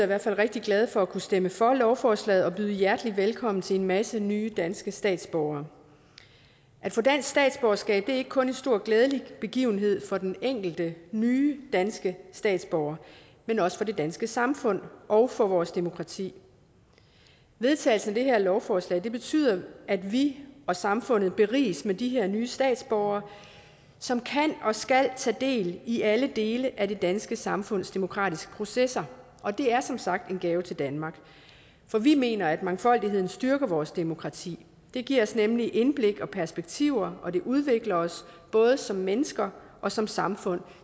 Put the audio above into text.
hvert fald rigtig glade for at kunne stemme for lovforslaget og byde hjertelig velkommen til en masse nye danske statsborgere at få dansk statsborgerskab er ikke kun en stor og glædelig begivenhed for den enkelte nye danske statsborger men også for det danske samfund og og vores demokrati vedtagelsen af det her lovforslag betyder at vi og samfundet beriges med de her nye statsborgere som kan og skal tage del i alle dele af det danske samfunds demokratiske processer og det er som sagt en gave til danmark for vi mener at mangfoldigheden styrker vores demokrati det giver os nemlig indblik og perspektiver og det udvikler os både som mennesker og som samfund